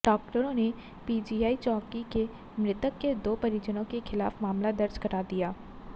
डाक्टरों ने पीजीआई चौकी में मृतक के दो परिजनों के खिलाफ मामला दर्ज करा दिया